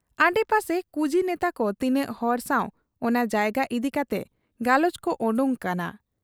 ᱟᱰᱮ ᱯᱟᱥᱮ ᱠᱩᱡᱤ ᱱᱮᱛᱟᱠᱚ ᱛᱤᱱᱟᱹᱜ ᱦᱚᱲ ᱥᱟᱶ ᱚᱱᱟ ᱡᱟᱭᱜᱟ ᱤᱫᱤ ᱠᱟᱛᱮ ᱜᱟᱞᱚᱪ ᱠᱚ ᱚᱰᱚᱠ ᱟᱠᱟᱱᱟ ᱾